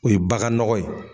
O ye bagan nɔgɔ ye